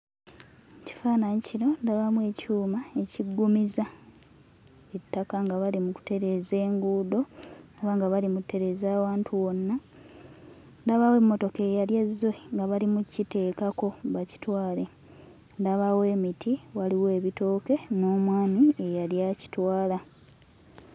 Mu kifaananyi kino ndabamu ekyuma ekiggumiza ettaka nga bali mu kutereeza enguudo oba nga bali mu ttereeza awantu wonna. Ndabawo emmotoka eyali ezze nga bali mu kkiteekako bakitwale. Ndabawo emiti, waliwo ebitooke n'omwami eyali akitwala.